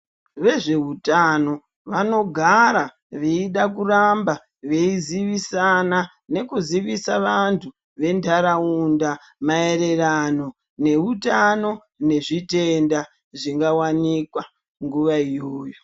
Vezveutano vanogara veida kuramba veizivisana nekuzivisa vanthu ventharaunda maererano neutano nezvitenda zvingawsnikwa nguva iyoyo.